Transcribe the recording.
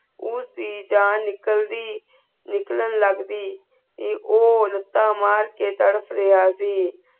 ਉਸ ਦੀ ਜਾਨ ਨਿਕਲਦੀ ਨਿਕਲਾਂ ਲਗਦੀ ਤੇ ਉਹ ਲੱਤਾਂ ਮਾਰ ਕੇ ਤੜਪ ਰਿਯਾ ਸੀ